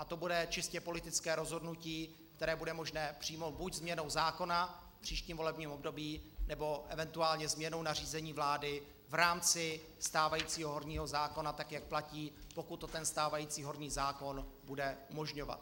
A to bude čistě politické rozhodnutí, které bude možné přijmout buď změnou zákona v příštím volebním období, nebo eventuálně změnou nařízení vlády v rámci stávajícího horního zákona, tak jak platí, pokud to ten stávající horní zákon bude umožňovat.